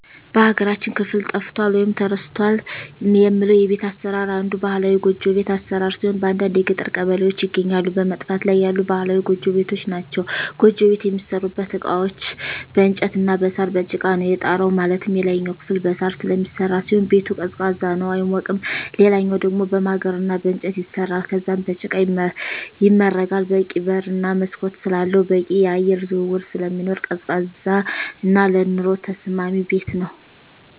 በሀገራችን ክፍል ጠፍቷል ወይም ተረስቷል የምለው የቤት አሰራር አንዱ ባህላዊ ጎጆ ቤት አሰራር ሲሆን በአንዳንድ የገጠር ቀበሌዎች ይገኛሉ በመጥፋት ላይ ያሉ ባህላዊ ጎጆ ቤቶች ናቸዉ። ጎጆ ቤት የሚሠሩበት እቃዎች በእንጨት እና በሳር፣ በጭቃ ነው። የጣራው ማለትም የላይኛው ክፍል በሳር ስለሚሰራ ሲሆን ቤቱ ቀዝቃዛ ነው አይሞቅም ሌላኛው ደሞ በማገር እና በእንጨት ይሰራል ከዛም በጭቃ ይመረጋል በቂ በር እና መስኮት ስላለው በቂ የአየር ዝውውር ስለሚኖር ቀዝቃዛ እና ለኑሮ ተስማሚ ቤት ነው።